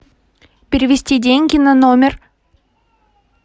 перевести деньги на номер